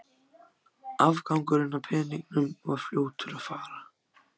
Afgangurinn af peningunum var fljótur að fara.